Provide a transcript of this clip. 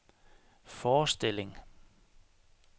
forestilling